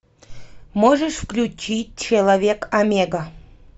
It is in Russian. можешь включить человек омега